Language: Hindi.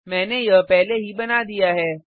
मैंने यह पहले ही बना दिया है